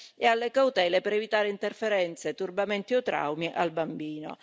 e alle cautele per evitare interferenze, turbamenti o traumi al bambino.